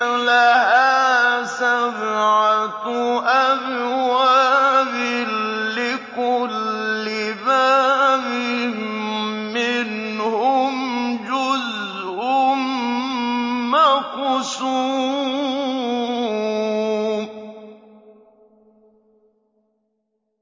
لَهَا سَبْعَةُ أَبْوَابٍ لِّكُلِّ بَابٍ مِّنْهُمْ جُزْءٌ مَّقْسُومٌ